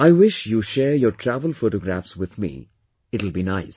I wish you share your travel photographs with me, it will be nice